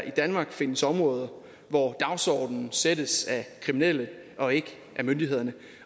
i danmark findes områder hvor dagsordenen sættes af kriminelle og ikke af myndighederne